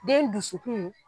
Den dusukun